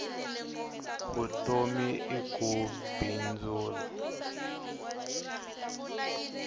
vutomi i ku bindzula